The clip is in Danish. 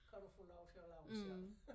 Kan du få lov til at lave det selv